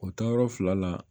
O taayɔrɔ fila la